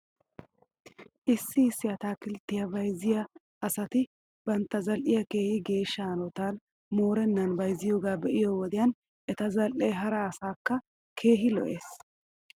Issi issi ataakiltteta bayzziyaa asati bantta zal'iyaa keehi geeshsha hanotan moorennan bayzziyoogaa be'iyoo wodiyan eta zal'ee hara asaakka keehi lo'es.